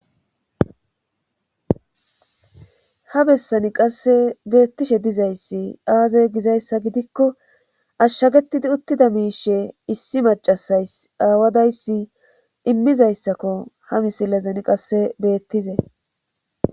ha bessani qasse beettishe dizayssi aaze gizayssa gidikko ashshagetidi uttida miishe issi macasays aawadayssi immizayssakko ha misilezan qasse beettizey